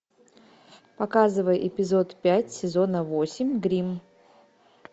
показывай эпизод пять сезона восемь гримм